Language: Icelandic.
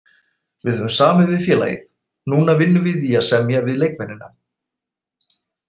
Við höfum samið við félagið, núna vinnum við í að semja við leikmennina.